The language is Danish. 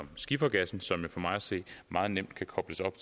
skifergassen som for mig at se meget nemt kan kobles op